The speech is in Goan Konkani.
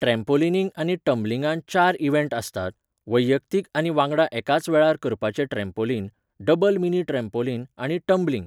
ट्रॅम्पॉलिनिंग आनी टम्बलिंगांत चार इव्हँट आसतात, वैयक्तीक आनी वांगडा एकाच वेळार करपाचें ट्रॅम्पॉलिन, डबल मिनी ट्रॅम्पॉलिन आनी टम्बलिंग.